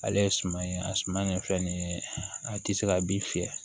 Ale ye suman ye a suma nin fɛn nin ye a tɛ se ka bin fiyɛ